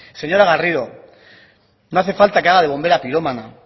señora garrido no hace falta que haga de bombera pirómana